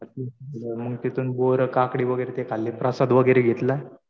मग तिथून बोरं, काकडी, बोरं वगैरे ते खाल्ले. प्रसाद वगैरे घेतला.